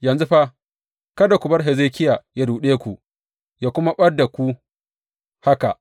Yanzu fa, kada ku bar Hezekiya yă ruɗe ku yă kuma ɓad da ku haka.